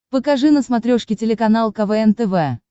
покажи на смотрешке телеканал квн тв